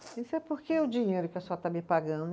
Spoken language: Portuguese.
É porque o dinheiro que a senhora está me